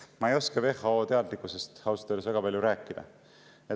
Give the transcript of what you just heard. Ma ei oska WHO teadlikkusest ausalt öeldes väga palju rääkida.